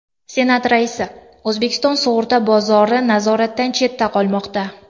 Senat raisi: O‘zbekiston sug‘urta bozori nazoratdan chetda qolmoqda.